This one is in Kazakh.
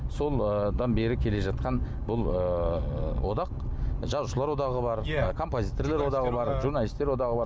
содан бері келе жатқан бұл ыыы одақ жазушылар одағы бар иә композиторлар одағы бар журналистер одағы бар